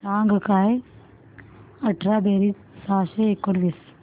सांग काय अठरा बेरीज सहाशे एकोणीस